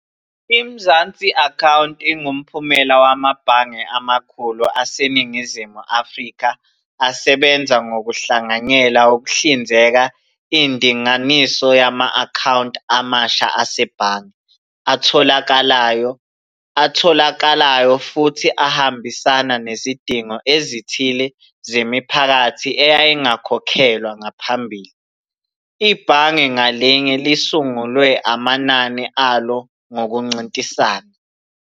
I-Mzansi Account ingumphumela wamabhange amakhulu aseNingizimu Afrika asebenza ngokuhlanganyela ukuhlinzeka indinganiso yama-akhawunti amasha asebhange, atholakalayo, atholakalayo futhi ahambisana nezidingo ezithile zemiphakathi eyayingakhokhelwa ngaphambili. Ibhange ngalinye lisungule amanani alo ngokuncintisana.